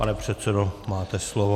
Pane předsedo, máte slovo.